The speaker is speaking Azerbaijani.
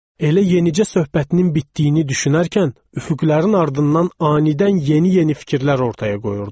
Elə yenicə söhbətinin bitdiyini düşünərkən üfüqlərin ardından anidən yeni-yeni fikirlər ortaya qoyurdu.